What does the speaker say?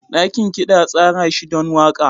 Dakin kiɗa an tsara shi don waƙa.